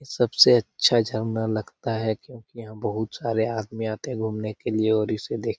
सबसे अच्छा झरना लगता है क्योंकि यहाँ बहुत सारे आदमी आते हैं घुमने के लिए और इसे देख --